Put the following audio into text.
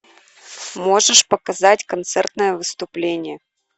можешь показать концертное выступление